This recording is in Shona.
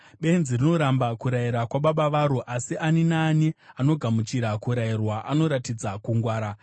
Benzi rinoramba kurayira kwababa varo, asi ani naani anogamuchira kurayirwa anoratidza kungwara.